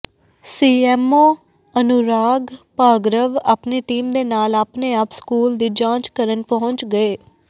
CMO Anurag ਭਾਗ੍ਰਵ ਆਪਣੀ team ਦੇ ਨਾਲ ਆਪਣੇ ਆਪ ਸਕੂਲ ਦੀ ਜਾਂਚ ਕਰਨ ਪਹੁੰਚ ਗਏ